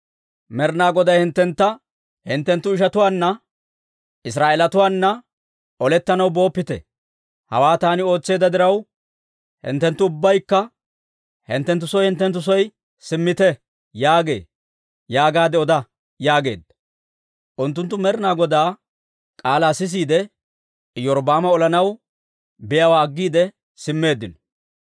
‹Med'inaa Goday hinttentta, «Hinttenttu ishatuwaanna, Israa'eelatuwaana olettanaw booppite. Hawaa taani ootseedda diraw, hinttenttu ubbaykka hinttenttu soo hinttenttu soo simmite» yaagee› yaagaadde oda» yaageedda. Unttunttu Med'inaa Godaa k'aalaa sisiide, Iyorbbaama olanaw biyaawaa aggiide simmeeddino.